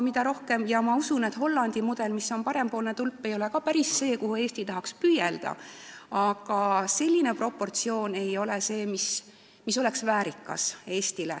Ma usun, et Hollandi mudel, mida näitab parempoolne tulp, ei ole ka päris see, mille poole Eesti tahaks püüelda, aga praegune Eesti proportsioon ei ole väärikas.